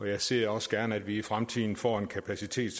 jeg ser også gerne at vi i fremtiden får en kapacitet